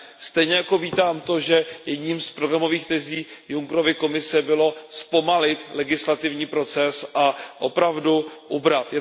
Stejně jako vítám to, že jednou z programových tezí Junckerovy Komise bylo zpomalit legislativní proces a opravdu ubrat.